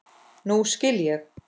Nú skil ég.